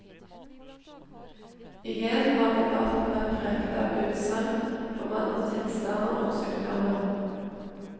Igjen har debatten vært preget av utsagn om andre tilstander og sykdommer.